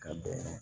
Ka bɛn